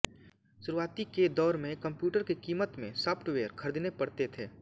शुरुआती के दौर में कंप्यूटर की कीमत में सॉफ्टवेअर खरीदने पडते थे